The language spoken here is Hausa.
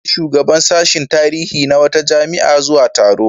An gayyaci shugaban sashin tarihi na wata jami'a zuwa taro.